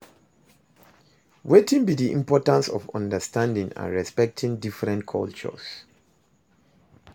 Wetin be di importance of understanding and respecting different cultures?